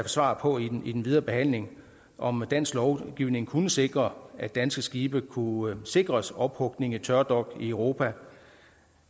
svar på i den i den videre behandling om dansk lovgivning kunne sikre at danske skibe kunne sikres ophugning i tørdok i europa